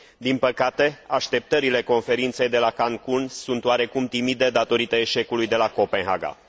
Din păcate, așteptările Conferinței de la Cancun sunt oarecum timide, datorită eșecului de la Copenhaga.